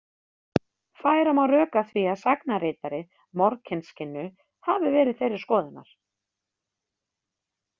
Færa má rök að því að sagnaritari Morkinskinnu hafi verið þeirrar skoðunar.